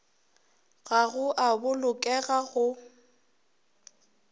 ga go a bolokega go